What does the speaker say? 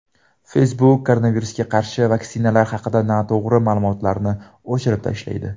Facebook koronavirusga qarshi vaksinalar haqidagi noto‘g‘ri ma’lumotlarni o‘chirib tashlaydi.